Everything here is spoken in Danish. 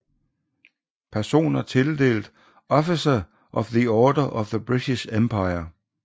Personer tildelt Officer of the Order of the British Empire